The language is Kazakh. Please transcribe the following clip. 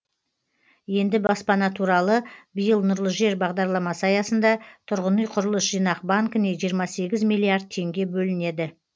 енді баспана туралы биыл нұрлы жер бағдарламасы аясында тұрғын үй құрылыс жинақ банкіне жиырма сегіз миллиард теңге бөлінеді